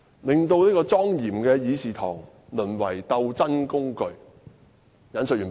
令莊嚴的議事堂淪為鬥爭工具"。